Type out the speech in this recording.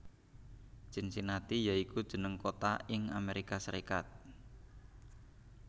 Cincinnati ya iku jeneng kota ing Amerika Serikat